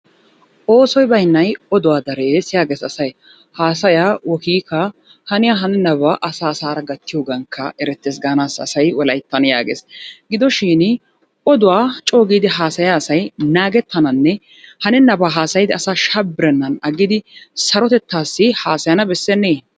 Oosoy baynnay oduwaa darees yaages asay haasaya wokiikaa haniya hanenabaa asaa asaara gattiyogankka erettees gaanassa asay wolayttan yaagees gidoshiin oduwa coo giidi haasayiya asay naagettananne hanenabaa haasayidi asaa shabirenan aggidi sarotettaasi haasayana bessenee?